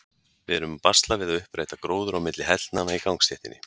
Við erum að basla við að uppræta gróður á milli hellnanna í gangstéttinni.